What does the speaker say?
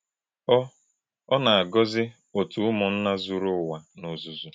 Ọ́ Ọ́ na - àgò̄zí̄ òtù̄ ùmùnnà̄ zùrù̄ Ụ̀wà n’ò̩zúzù̄.